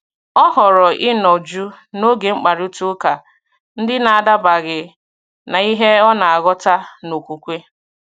Ọ họrọ̀ ịnọ jụụ n’oge mkparịta ụka ndị na-adabaghị na ihe ọ na-aghọta n’okwukwe.